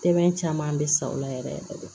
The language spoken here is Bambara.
Tɛmɛn caman bɛ sa o la yɛrɛ yɛrɛ de